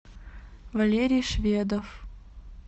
валерий шведов